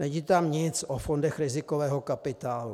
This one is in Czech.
Není tam nic o fondech rizikového kapitálu.